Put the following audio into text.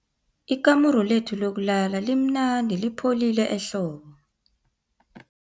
Ikamuru lethu lokulala limnandi lipholile ehlobo.